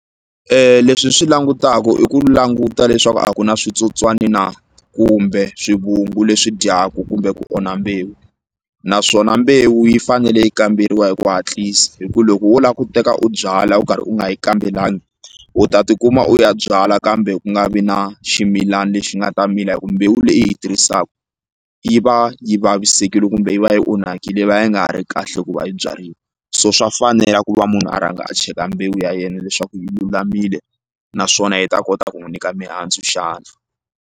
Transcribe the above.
Leswi hi swi langutaku i ku languta leswaku a ku na switsotswani na kumbe swivungu leswi dyaku kumbe ku onha mbewu naswona mbewu yi fanele yi kamberiwa hi ku hatlisa hi ku loko wo la ku teka u byala u karhi u nga yi kambelangi u ta tikuma u ya byala kambe ku nga vi na ximilana lexi nga ta mila hi ku mbewu leyi i yi tirhisaku yi va yi vavisekile kumbe yi va yi onhakile yi va yi nga ha ri kahle ku va yi byariwa so swa fanela ku va munhu a rhanga a cheka mbewu ya yena leswaku yi lulamile naswona yi ta kota ku n'wi nyika mihandzu xana.